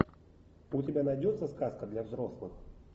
у тебя найдется сказка для взрослых